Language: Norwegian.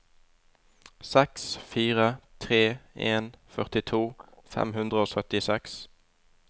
seks fire tre en førtito fem hundre og syttiseks